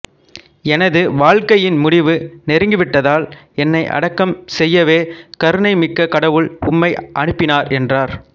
எனது வாழ்க்கையின் முடிவு நெருங்கிவிட்டதால் என்னை அடக்கம் செய்யவே கருணை மிக்க கடவுள் உம்மை அனுப்பினார் என்றார்